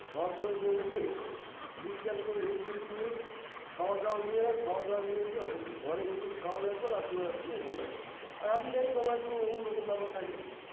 ভারত সেবাশ্রমে উঠে বিশ্রাম করে rest fest নিয়ে খাওয়ার দাওয়ার নিয়ে এলাম খাওয়ার দাওয়ার নিয়ে এসে ঘরে বসে খাওয়া দাওয়া করে রাত্তির বেলা শুয়ে পরলাম আর আমি জানি সবার একটু অন্যরকম ব্যাপার থাকে